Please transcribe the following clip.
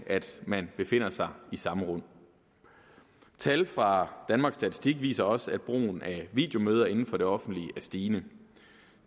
man befinder sig i samme rum tal fra danmarks statistik viser også at brugen af videomøder inden for det offentlige er stigende